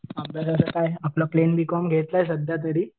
अभ्यासाचं काय आपलं प्लेन बीकॉम घ्यायचं सध्या तरी.